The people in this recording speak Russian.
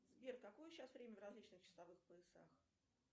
сбер какое сейчас время в различных часовых поясах